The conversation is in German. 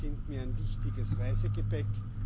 Sie sind mir ein wichtiges Reisegepäck.